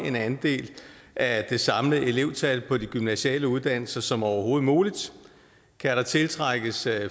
en andel af det samlede elevtal på de gymnasiale uddannelser som overhovedet muligt kan der tiltrækkes